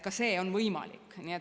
Ka see on võimalik.